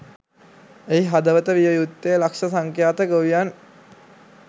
එහි හදවත විය යුත්තේ ලක්‍ෂ සංඛ්‍යාත ගොවියන්